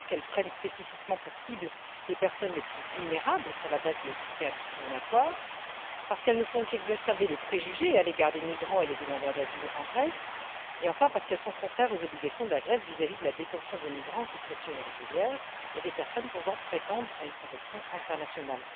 D'abord, parce qu'elles prennent spécifiquement pour cibles les personnes les plus vulnérables sur la base de critères discriminatoires, parce qu'elles ne font qu'exacerber les préjugés à l'égard des migrants et des demandeurs d'asile en Grèce et, enfin, parce qu'elles sont contraires aux obligations de la Grèce vis à vis de la détention des migrants en situation irrégulière et des personnes pouvant prétendre à une protection internationale.